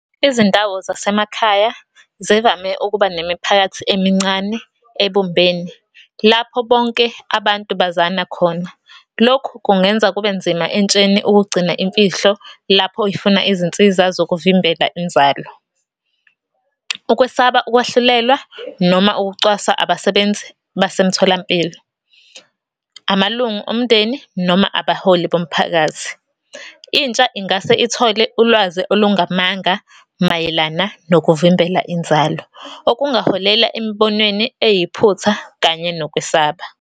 Izindawo zasemakhaya zivame ukuba nemiphakathi emincane, ebumbene, lapho bonke abantu bazana khona. Lokhu kungenza kube nzima entsheni ukugcina imfihlo lapho ifuna izinsiza zokuvimbela inzalo. Ukwesaba ukwahlulelwa, noma ukucwaswa abasebenzi basemtholampilo, amalungu omndeni, noma abaholi bomphakathi. Intsha ingase ithole ulwazi olungamanga mayelana nokuvimbela inzalo, okungaholela emibonweni eyiphutha kanye nokwesaba.